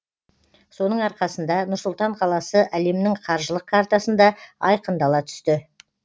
соның арқасында нұр сұлтан қаласы әлемнің қаржылық картасында айқындала түсті